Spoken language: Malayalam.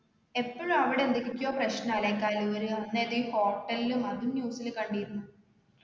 എപ്പൊഴും അവിടെ എന്തൊക്കൊക്കെയോ പ്രശ്നാലെ കഴൂര് അന്നേതെ hotel ഉം അതും news ല് കണ്ടീരുന്നു